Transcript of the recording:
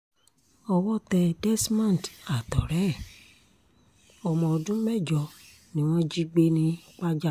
owó tẹ desmond àtọ̀rẹ́ ẹ̀ ọmọ ọdún mẹ́jọ ni wọ́n jí gbé ni pajà